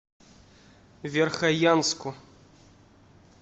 верхоянску